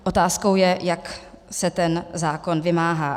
Otázkou je, jak se ten zákon vymáhá.